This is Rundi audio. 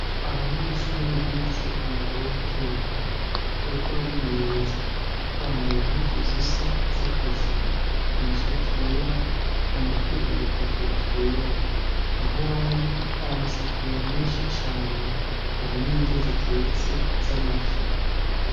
Abanyeshure bize umwuga wo guteka. Bariko barimenyereza, bambaye impuzu zisa, z'akazi, amashati yera, mu mutwe udukofero twera, aho bari hari amasafuriya menshi cane. Hari n'indya zitetse, z'amafi.